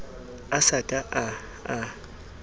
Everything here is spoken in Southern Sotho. a sa ka a a